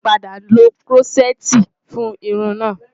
A ti padà lo Kúrọ́ṣẹ́ẹ́tì fún irun náà.